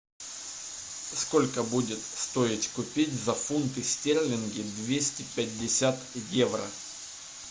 сколько будет стоить купить за фунты стерлинги двести пятьдесят евро